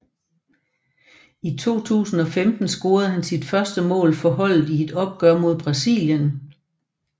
I 2015 scorede han sit første mål for holdet i et opgør mod Brasilien